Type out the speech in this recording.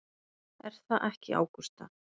Er það ekki Ágústa?